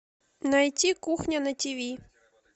найти кухня на тв